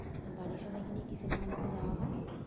বাড়ির সবাইকে নিয়ে কি cinema দেখতে যাওয়া হয়?